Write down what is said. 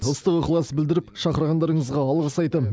ыстық ықылас білдіріп шақырғандарыңызға алғыс айтам